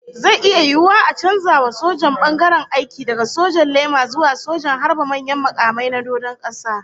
Zai iya yiwuwa a canza wa sojan bangaren aiki daga sojan laima zuwa sojan harba manyan makamai na doron kasa